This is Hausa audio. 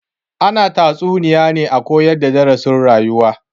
Ana tatsuniya ne a koyar da darasin rayuwa